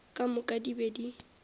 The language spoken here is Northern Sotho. ka moka di be di